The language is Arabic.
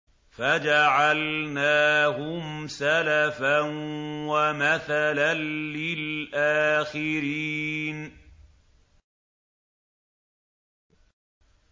فَجَعَلْنَاهُمْ سَلَفًا وَمَثَلًا لِّلْآخِرِينَ